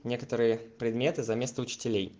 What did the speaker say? некоторые предметы заместо учителей